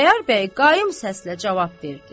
Xudayar bəy qaim səslə cavab verdi.